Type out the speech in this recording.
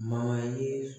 ye